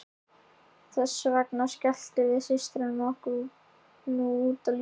Þess vegna skelltum við systurnar okkur nú út á lífið.